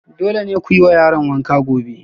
Dole ne ku yi wa yaran wanka gobe